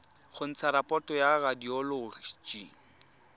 go ntsha raporoto ya radioloji